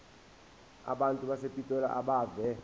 abantu basepitoli abeve